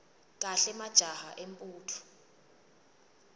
kahle majaha embutfo